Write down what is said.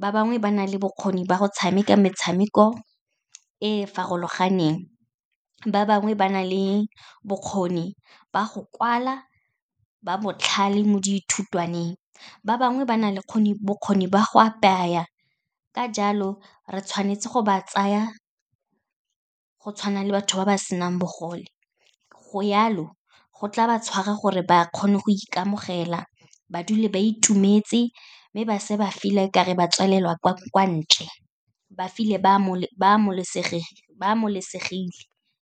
ba bangwe ba na le bokgoni ba go tshameka metshameko e e farologaneng, ba bangwe ba na le bokgoni ba go kwala, ba botlhale mo dithutwaneng, ba bangwe ba na le bokgoni ba go apaya. Ka jalo, re tshwanetse go ba tsaya go tshwana le batho ba ba senang bogole. Go jalo, go tla ba tshwara gore ba kgone go ikamogela, ba dule ba itumetse, mme ba se ba feel-a okare ba tswalelwa kwa ntle, ba feel-e ba .